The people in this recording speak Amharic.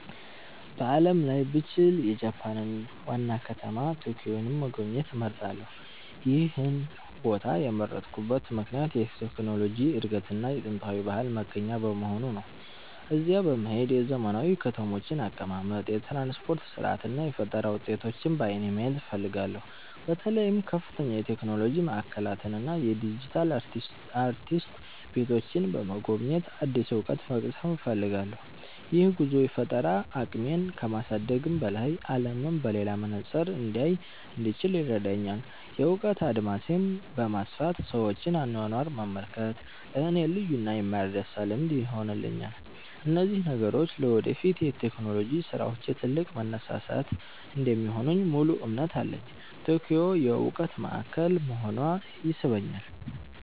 በዓለም ላይ ብችል፣ የጃፓንን ዋና ከተማ ቶኪዮን መጎብኘት እመርጣለሁ። ይህን ቦታ የመረጥኩበት ምክንያት የቴክኖሎጂ እድገትና የጥንታዊ ባህል መገናኛ በመሆኑ ነው። እዚያ በመሄድ የዘመናዊ ከተሞችን አቀማመጥ፣ የትራንስፖርት ሥርዓት እና የፈጠራ ውጤቶችን በዓይኔ ማየት እፈልጋለሁ። በተለይም ከፍተኛ የቴክኖሎጂ ማዕከላትን እና የዲጂታል አርቲስት ቤቶችን በመጎብኘት አዲስ እውቀት መቅሰም እፈልጋለሁ። ይህ ጉዞ የፈጠራ አቅሜን ከማሳደግም በላይ፣ አለምን በሌላ መነጽር እንዳይ እንድችል ይረዳኛል። የእውቀት አድማሴን በማስፋት የሰዎችን አኗኗር መመልከት ለእኔ ልዩና የማይረሳ ልምድ ይሆንልኛል። እነዚህ ነገሮች ለወደፊት የቴክኖሎጂ ስራዎቼ ትልቅ መነሳሳት እንደሚሆኑልኝ ሙሉ እምነት አለኝ። ቶኪዮ የእውቀት ማዕከል መሆኗ ይስበኛል።